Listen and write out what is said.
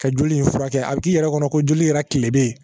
Ka joli in furakɛ a bi k'i yɛrɛ kɔnɔ ko joli yɛrɛ kile bɛ yen